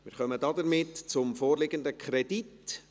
Damit kommen wir zum vorliegenden Kredit.